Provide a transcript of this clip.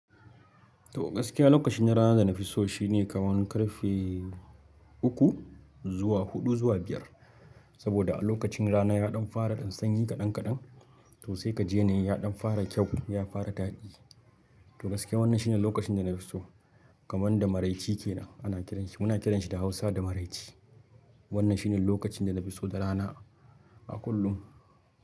To gaskiya lokacin rana da na fi so shine kamar karfe uku zuwa huɗu zuwa biyar. Saboda a lokacin rana ya ɗan fara ɗan sanyi kaɗan kaɗan, to sai ka ji yanayi ya ɗan fara kyau, ya fara daɗi. To gaske wannan shine lokacin da na fi so kamar da maraice ke nan ana kiranshi, muna kiranshi da Hausa da maraice. Wannan shine lokacin da na fi so da rana a kullum.